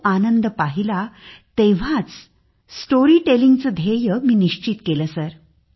तो आनंद पाहिला तेव्हाच स्टोरी टेलिंग चे ध्येय मी निश्चित केले सर